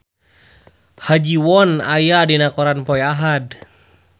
Ha Ji Won aya dina koran poe Ahad